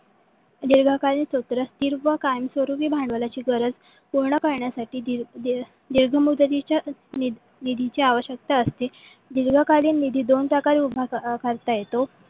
दीर्घ कालीन सत्र स्थिर व कायम स्वरूपाचे भांडवलची गरज पूर्ण करण्यासाठी दीर्घ मुदतीच्या निधीची आवश्यकता असते. दीर्घ कालीन निधी दोन प्रकारे उभा करता येतो.